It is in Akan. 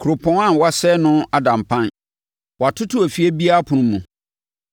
Kuropɔn a wɔasɛe no ada mpan; wɔatoto efie biara apono mu.